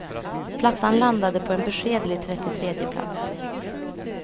Plattan landade på en beskedlig trettiotredje plats.